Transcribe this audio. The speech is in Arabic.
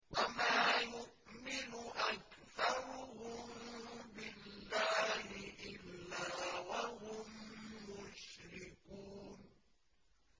وَمَا يُؤْمِنُ أَكْثَرُهُم بِاللَّهِ إِلَّا وَهُم مُّشْرِكُونَ